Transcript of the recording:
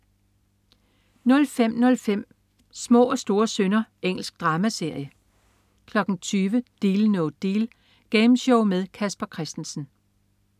05.05 Små og store synder. Engelsk dramaserie 20.00 Deal No Deal. Gameshow med Casper Christensen